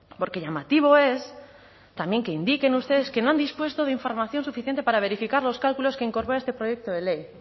porque llamativo es también que indiquen ustedes que no han dispuesto de información suficiente para verificar los cálculos que incorpora este proyecto de ley